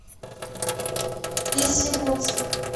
весьегонска